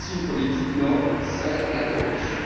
Ainsi, une politique noble sert la corruption.